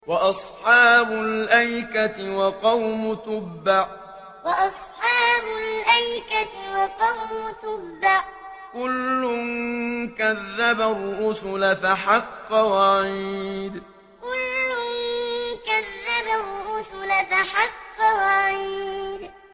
وَأَصْحَابُ الْأَيْكَةِ وَقَوْمُ تُبَّعٍ ۚ كُلٌّ كَذَّبَ الرُّسُلَ فَحَقَّ وَعِيدِ وَأَصْحَابُ الْأَيْكَةِ وَقَوْمُ تُبَّعٍ ۚ كُلٌّ كَذَّبَ الرُّسُلَ فَحَقَّ وَعِيدِ